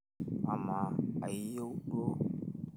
amaa iyeuo duo?